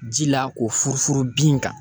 Ji la k'o furu fur bin kan.